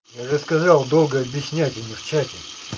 я же сказал долго объяснять я не в чате